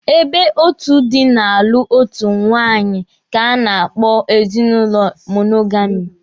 Ebe otu dị na-alụ otu nwaanyị ka a na-akpọ ezinụlọ monogami.